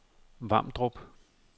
Vamdrup